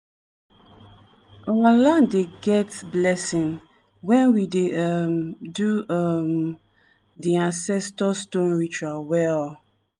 our land dey get blessing when we dey um do um di ancestor stone ritual well.